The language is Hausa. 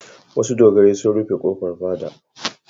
Wasu dogarai sun rufe ƙofar fada.